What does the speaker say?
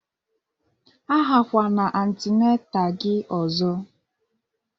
A ghakwana antinatal gị ọzọ!